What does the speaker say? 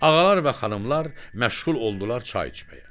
Ağalar və xanımlar məşğul oldular çay içməyə.